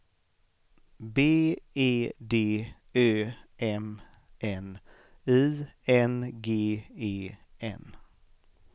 B E D Ö M N I N G E N